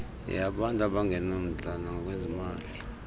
yeyabantu abangenamndla ngokwezimali